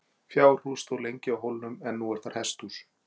Fjárhús stóð lengi á hólnum en nú er þar hesthús.